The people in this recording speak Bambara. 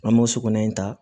An b'o sokɔnɔna in ta